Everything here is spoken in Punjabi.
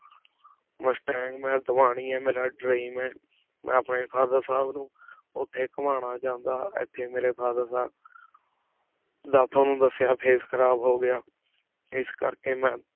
ਮੁਸ਼੍ਤਾੰਗ ਮੈ ਦ੍ਵਾਨੀ ਆਯ ਮੇਰਾ dream ਹੈ ਮੈਂ ਅਪਨੀ father ਸਾਹਿਬ ਨੂ ਓਥੀ ਘੁਮਾਨਾ ਚਾਹੰਦਾ ਇਥੀ ਮੇਰੇ father ਦਾ ਦਾ ਤ੍ਵਾਨੁ ਦਸ੍ਯ face ਖਰਾਬ ਹੋ ਗਯਾ ਇਸ ਕਰ ਕੀ ਮੈਂ